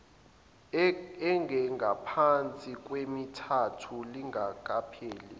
engengaphansi kwemithathu lingakapheli